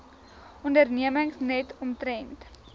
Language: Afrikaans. ondernemings net omtrent